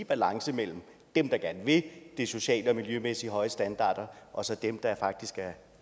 balance mellem dem der gerne vil de socialt og miljømæssigt høje standarder og så dem der faktisk